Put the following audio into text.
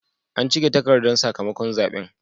An cike takardar sakamakon zaɓen.